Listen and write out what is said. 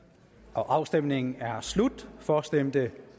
afstemningen er slut for stemte